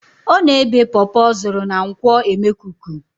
Ọ na-ebé pọpọ ọ zụrụ na nkwo emekuku